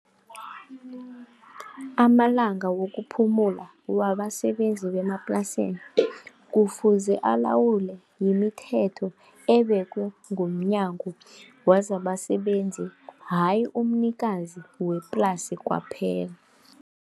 Amalanga wokuphumula wabasebenzi bemaplasini kufuze alawule yimithetho ebekwe ngomNyango wezabaSebenzi hhayi umnikazi weplasi kwaphela.